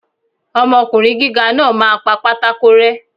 Ọmọkùnrin gíga náà máa pa pátákó rẹ́.